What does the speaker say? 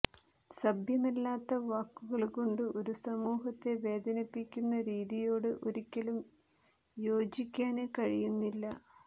സഭ്യമല്ലാത്ത വാക്കുകള്കൊണ്ട് ഒരു സമൂഹത്തെ വേദനിപ്പിക്കുന്ന രീതിയോട് ഒരിക്കലും യോചിക്കാന് കഴിയുന്നില്ല